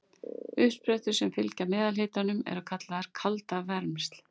Uppsprettur sem fylgja meðalhitanum eru kallaðar kaldavermsl.